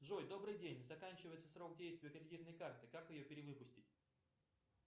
джой добрый день заканчивается срок действия кредитной карты как ее перевыпустить